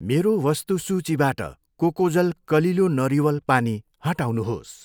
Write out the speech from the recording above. मेरो वस्तु सूचीबाट कोकोजल कलिलो नरिवल पानी हटाउनुहोस्।